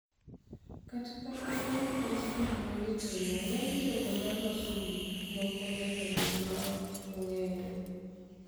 Kata kamano, nikech gik ma gitimo, ng'eny jogo ma loso gik moko nyaka bed ma ok ong�ere.